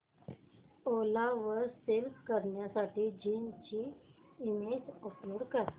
ओला वर सेल करण्यासाठी जीन्स ची इमेज अपलोड कर